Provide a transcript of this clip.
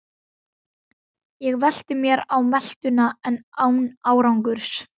Ég velti mér á meltuna en án árangurs.